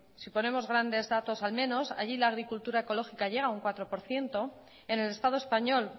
si ponemos grandes datos al menos allí la agricultura ecológica llega a un cuatro por ciento en el estado español